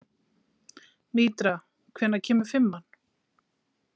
Mítra, hvenær kemur fimman?